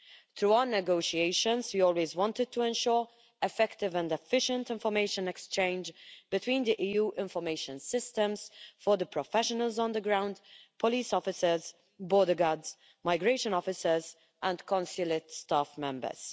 Through our negotiations we always wanted to ensure effective and efficient information exchange between the EU information systems for the professionals on the ground police officers, border guards, migration officers and consulate staff members.